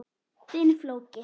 Þinn, Flóki.